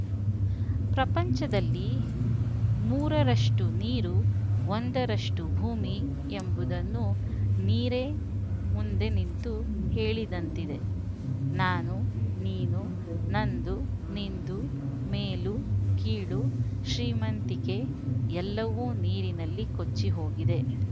ಪ್ರಪಂಚದಲ್ಲಿ ಮೂರರಷ್ಟುನೀರು ಒಂದರಷ್ಟುಭೂಮಿ ಎಂಬುದನ್ನು ನೀರೇ ಮುಂದೆ ನಿಂತು ಹೇಳಿದಂತಿದೆ ನಾನು ನೀನು ನಂದು ನಿಂದು ಮೇಲು ಕೀಳು ಶ್ರೀಮಂತಿಗೆ ಎಲ್ಲವೂ ನೀರಿನಲ್ಲಿ ಕೊಚ್ಚಿಹೋಗಿದೆ